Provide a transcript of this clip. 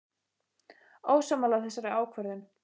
Ósammála þessari ákvörðun?